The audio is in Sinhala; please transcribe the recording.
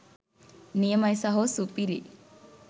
නියමයි සහෝ සුපිරි